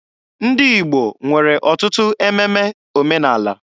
Ndị Igbo nwere ọtụtụ ememe omenaala.